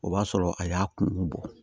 O b'a sɔrɔ a y'a kun bɔ